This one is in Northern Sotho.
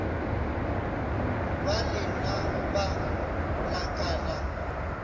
ba lenaba la ka la